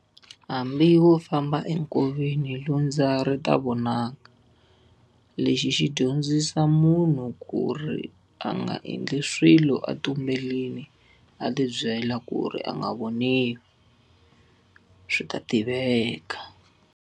Hambi wo famba enkoveni lundza ri ta vonaka. Lexi xi dyondzisa munhu ku ri a nga endli swilo a tumberile a ti byela ku ri a nga voniwi, swi ta tiveka.